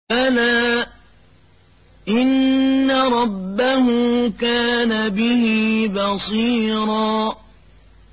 بَلَىٰ إِنَّ رَبَّهُ كَانَ بِهِ بَصِيرًا